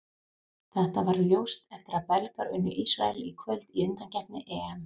Þetta varð ljóst eftir að Belgar unnu Ísrael í kvöld í undankeppni EM.